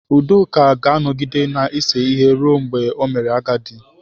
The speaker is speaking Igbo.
Udoka ga-anọgide na-ese ihe ruo mgbe o mere agadi